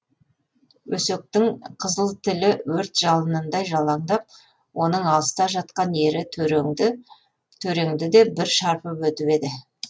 өсектің қызыл тілі өрт жалынындай жалаңдап оның алыста жатқан ері төреңді де бір шарпып өтіп еді